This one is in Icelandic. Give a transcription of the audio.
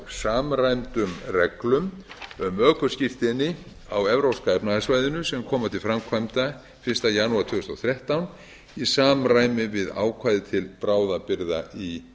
samræmdum reglum um ökuskírteini á evrópska efnahagssvæðinu sem koma til framkvæmda fyrsta janúar tvö þúsund og þrettán í samræmi við ákvæði til bráðabirgða í